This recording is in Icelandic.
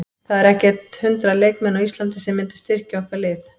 Það eru ekkert hundrað leikmenn á Íslandi sem myndu styrkja okkar lið.